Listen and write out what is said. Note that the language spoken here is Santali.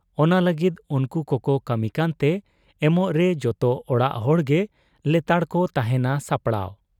ᱚᱱᱟ ᱞᱟᱹᱜᱤᱫ ᱩᱱᱠᱩ ᱠᱚᱠᱚ ᱠᱟᱹᱢᱤ ᱠᱟᱱᱛᱮ ᱮᱢᱚᱜᱨᱮ ᱡᱚᱛᱚ ᱚᱲᱟᱜ ᱦᱚᱲᱜᱮ ᱞᱮᱛᱟᱲᱠᱚ ᱛᱟᱦᱮᱸᱱᱟ ᱥᱟᱯᱲᱟᱣ ᱾